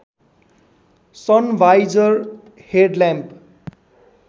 sun visor head lamp